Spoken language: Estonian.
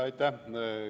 Aitäh!